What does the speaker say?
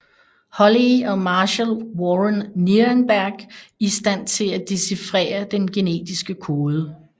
Holley og Marshall Warren Nirenberg i stand til at dechifrere den genetiske kode